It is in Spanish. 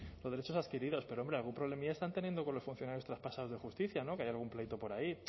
los derechos adquiridos pero hombre algún problemilla están teniendo con los funcionarios traspasados de justicia no que hay algún pleito por ahí